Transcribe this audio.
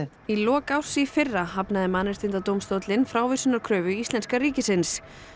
í lok árs í fyrra hafnaði Mannréttindadómstóllinn frávísunarkröfu íslenska ríkisins